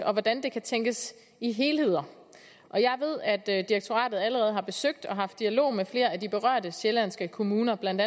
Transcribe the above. om hvordan der kan tænkes i helheder og jeg ved at at direktoratet allerede har besøgt og haft dialog med flere af de berørte sjællandske kommuner blandt